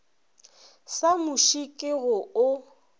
sa muši ke go o